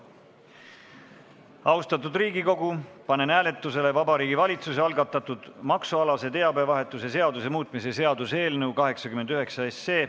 Austatud Riigikogu, panen hääletusele Vabariigi Valitsuse algatatud maksualase teabevahetuse seaduse muutmise seaduse eelnõu 89.